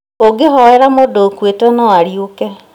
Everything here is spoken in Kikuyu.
ũngĩhoera mũndũ ũkuĩte no ariũke